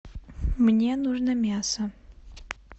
мне нужно мясо